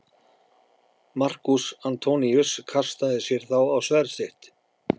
Markús Antoníus kastaði sér þá á sverð sitt.